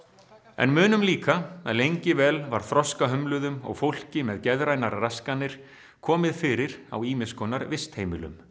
en munum líka að lengi vel var þroskahömluðum og fólki með geðrænar raskanir komið fyrir á ýmiss konar vistheimilum